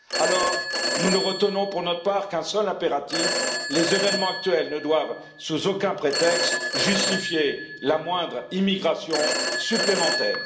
Alors, nous ne retenons pour notre part qu'un seul impératif les événements actuels ne doivent sous aucun prétexte justifier la moindre immigration supplémentaire.